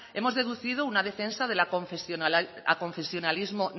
hemos deducido una defensa del aconfesionalismo